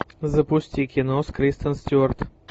запусти кино с кристен стюарт